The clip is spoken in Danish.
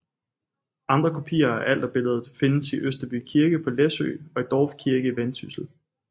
Andre kopier af Alterbilledet findes i Østerby Kirke på Læsø og i Dorf Kirke i Vendsyssel